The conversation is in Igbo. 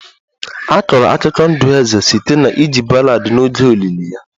A kọrọ akụkọ ndụ eze site na iji ballad n'oge olili ya